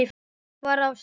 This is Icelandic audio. var á stall.